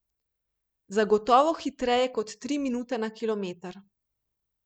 Zagotovo hitreje kot tri minute na kilometer.